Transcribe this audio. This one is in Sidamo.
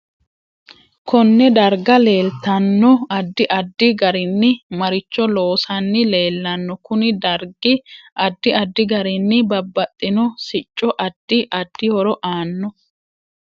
KOnne darga leeltanno addi addi garinni maricho loosanni leelanno kuni dargi addi addi garinni babaxino sicco addi addi horo aano